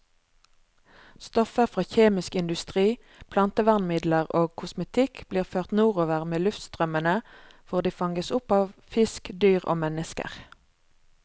Stoffer fra kjemisk industri, plantevernmidler og kosmetikk blir ført nordover med luftstrømmene, hvor de fanges opp av fisk, dyr og mennesker.